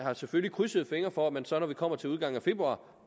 selvfølgelig krydser fingre for at man så når vi kommer til udgangen af februar